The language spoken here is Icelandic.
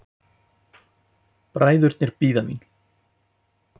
Bræðurnir bíða mín.